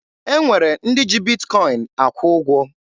E nwere ndị ji Bitkọin akwụ ụgwọ.